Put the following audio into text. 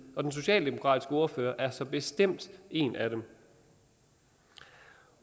og den socialdemokratiske ordfører er så bestemt en af dem